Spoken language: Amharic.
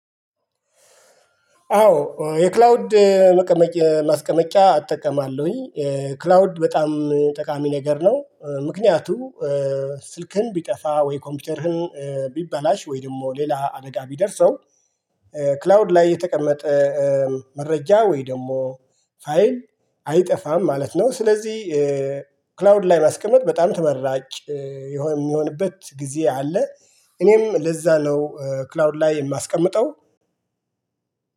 አዎ የክላውድ ማስቀመጫ አጠቀማለሁኝ ክላውድ በጣም ጠቃሚ ነገር ነው። ምክንያቱም ስልክህን ቢጠፋ ወይ ኮምፒውተርህን ቢበላሽ ወይ ደግሞ ሌላ አደጋ ቢደርሰው ክላውድ ላይ የተቀመጠ መረጃ ወይ ደግሞ ፋይል አይጠፋም ማለት ነው። ስለዚህ ክላውድ ላይ ማስቀመጥ በጣም ተመራጭ የሚሆንበት ጊዜ አለ። እኔም ለዛ ነው ክላውድ ላይ የማስቀምጠው።